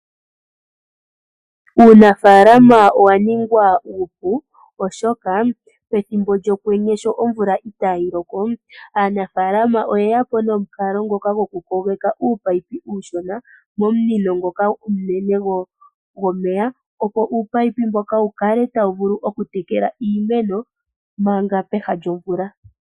Uunafaalama owa ningwa uupu oshoka pethimbo lyokwenye sho omvula itayi loko, aanafaalama oye ya po nomukalo ngoka gokupogeka uunino uushona momunino ngoka omunene gomeya, opo uunino mboka wu kale tawu vulu okutekela iimeno manga peha lyomvula.